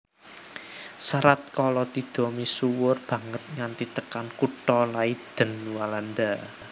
Serat Kalatidha misuwur banget nganti tekan kutha Leiden Walanda